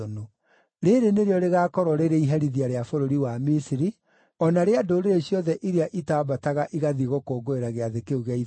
Rĩĩrĩ nĩrĩo rĩgaakorwo rĩrĩ iherithia rĩa bũrũri wa Misiri, o na rĩa ndũrĩrĩ ciothe iria itaambataga igathiĩ gũkũngũĩra Gĩathĩ kĩu gĩa Ithũnũ.